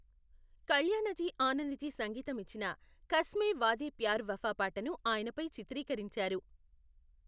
కల్యాణజీ ఆనందజీ సంగీతం ఇచ్చిన కస్మే వాదే ప్యార్ వఫా పాటను ఆయనపై చిత్రీకరించారు.